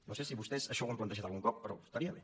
no sé si vostès això ho han plantejat algun cop però estaria bé